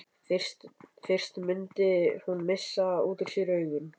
Fyrst mundi hún missa út úr sér augun.